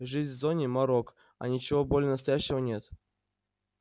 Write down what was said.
жизнь в зоне морок а ничего более настоящего нет